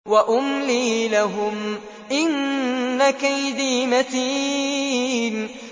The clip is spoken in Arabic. وَأُمْلِي لَهُمْ ۚ إِنَّ كَيْدِي مَتِينٌ